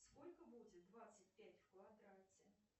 сколько будет двадцать пять в квадрате